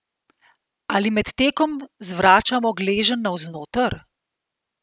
Ali med tekom zvračamo gleženj navznoter?